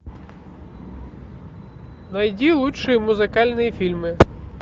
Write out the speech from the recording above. найди лучшие музыкальные фильмы